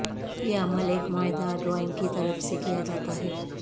یہ عمل ایک معاہدہ ڈرائنگ کی طرف سے کیا جاتا ہے